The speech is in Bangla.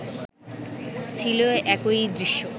ছিল একই দৃশ্য